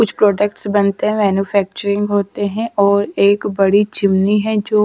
कुछ प्रोडक्ट्स बनते हैं मैन्युफैक्चरिंग होते है और एक बड़ी चिमनी है जो--